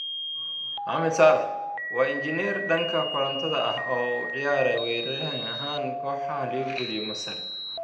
Mohamed Salah: waa Injineer dhanka Korontada ah oo u ciyaara weeraryahan ahaan kooxaha Liverpool iyo Masar